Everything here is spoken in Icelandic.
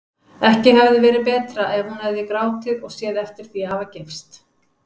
Ekki hefði verið betra ef hún hefði grátið og séð eftir því að hafa gifst.